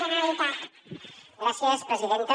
gràcies presidenta